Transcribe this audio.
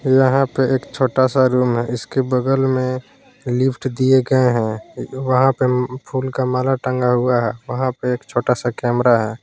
यहां पे एक छोटा सा रूम है इसके बगल में लिफ्ट दिए गए हैं वहां पे फूल का माल टंगा हुआ है वहां पर एक छोटा सा कैमरा है।